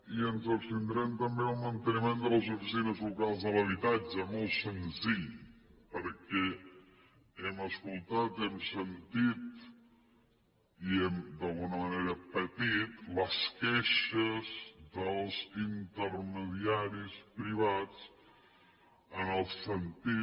i ens abstindrem també en el manteniment de les oficines locals de l’habitatge molt senzill perquè hem escoltat hem sentit i hem d’alguna manera patit les queixes dels intermediaris privats en el sentit